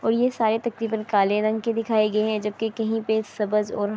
اور یہ سارے تکریباً کالے رنگ کے دکے گئے ہے۔ جبکی کہی پی سبج--